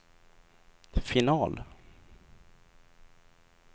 final